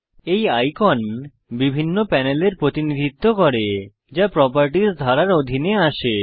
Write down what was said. এই আইকন বিভিন্ন প্যানেলের প্রতিনিধিত্ব করে যা প্রোপার্টিস ধারার অধীনে আসে